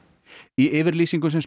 í yfirlýsingu sem